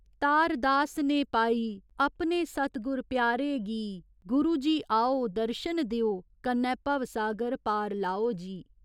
तार दास ने पाई अपने सतगुर प्यारे गी गुरु जी आओ दर्शन देओ कन्नै भवसागर पार लाओ जी।